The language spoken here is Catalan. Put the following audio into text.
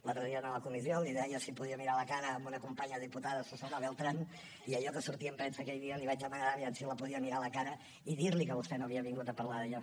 l’altre dia en la comissió li deia si podia mirar a la cara en una companya diputada susana beltrán i allò que sortia en premsa aquell dia li vaig demanar a veure si la podia mirar a la cara i dir li que vostè no havia vingut a parlar d’allò